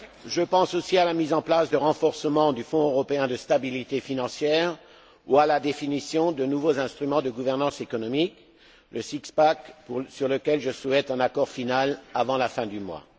Je pense aussi à la mise en place du renforcement du Fonds européen de stabilité financière ou à la définition de nouveaux instruments de gouvernance économique, le six pack, sur lequel je souhaite un accord final avant la fin du mois.